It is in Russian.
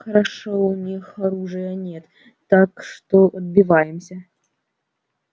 хорошо у них оружия нет так что отбиваемся